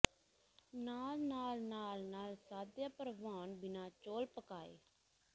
ਨਾਲ ਨਾਲ ਨਾਲ ਨਾਲ ਸਾਧਿਆ ਭਰਵਾਉਣ ਬਿਨਾ ਚੌਲ ਪਕਾਏ